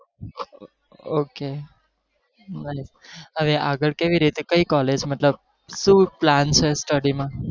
Okay હવે આગળ કેવી રીતે કઈ college મતલબ શું plan છે study માં